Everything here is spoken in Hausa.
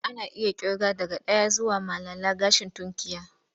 Ana iya ƙirga daga ɗaya zuwa malala gashin tunkiya.